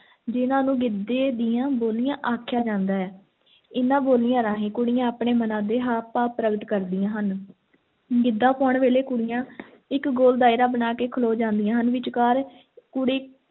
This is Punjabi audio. ਜਿਨ੍ਹਾਂ ਨੂੰ ਗਿੱਧੇ ਦੀਆਂ ਬੋਲੀਆਂ ਆਖਿਆ ਜਾਂਦਾ ਹੈ, ਇਹਨਾਂ ਬੋਲੀਆਂ ਰਾਹੀਂ ਕੁੜੀਆਂ ਆਪਣੇ ਮਨਾਂ ਦੇ ਹਾਵ ਭਾਵ ਪ੍ਰਗਟ ਕਰਦੀਆਂ ਹਨ l ਗਿੱਧਾ ਪਾਉਣ ਵੇਲੇ ਕੁੜੀਆਂ ਇੱਕ ਗੋਲ ਦਾਇਰਾ ਬਣਾ ਕੇ ਖਲੋ ਜਾਂਦੀਆਂ ਹਨ, ਵਿਚਕਾਰ ਕੁੜੀ